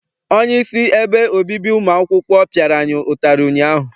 Onyeisi ebe obibi ụmụ akwụkwọ piara anyị ụtarị ụnyaahụ.